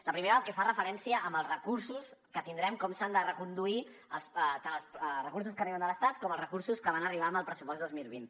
la primera pel que fa referència als recursos que tindrem com s’han de reconduir tant els recursos que arriben de l’estat com els recursos que van arribar amb el pressupost dos mil vint